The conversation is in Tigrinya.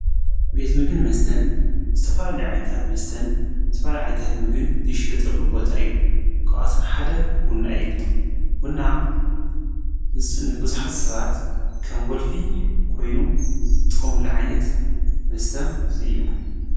ቤት ምግን መስተን ዝተፋላ ሊዓይንታት መስተን ዝተፈል ዓይንታት ምግን ድሽዮጠሉ ቦታ እዩ ክኣቶም ሓደ ቡና እዩ ዉና ንብዙኃት ሰባት ከም ወልፊ ኮይኑ ዝጥሚሉ ዓይነት መስተ እዩ።